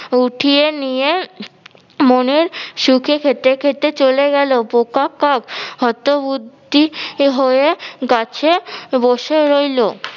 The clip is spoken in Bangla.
উঠিয়ে নিয়ে মনের সুখে খেতে খেতে চলে গেলো, বোকা কাক হতবুদ্ধি হয়ে গাছে বসে রইলো।